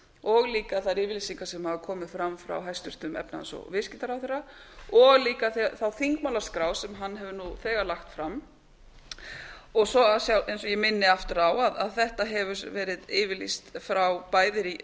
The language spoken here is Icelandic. og líka þær yfirlýsingar sem hafa komið fram frá hæstvirtum efnahags og viðskiptaráðherra og líka þá þingmálaskrá sem hann hefur nú þegar lagt fram og svo eins og ég minni aftur á að þetta hefur verið yfirlýst frá bæði